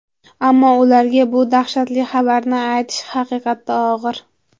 Ammo ularga bu dahshatli xabarni aytish haqiqatda og‘ir.